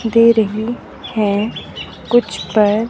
दे रही है कुछ पर--